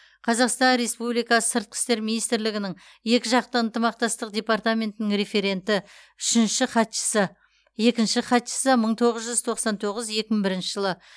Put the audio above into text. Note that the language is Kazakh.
қазақстан республикасы сыртқы істер министрлігінің екіжақты ынтымақтастық департаментінің референті үшінші хатшысы екінші хатшысы мың тоғыз жүз тоқсан тоғыз екі мың бірінші жылы